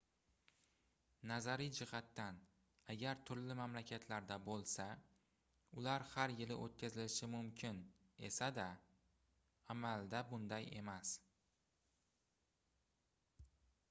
nazariy jihatdan agar turli mamlakatlarda bo'lsa ular har yili o'tkazilishi mumkin esa-da amalda bunday emas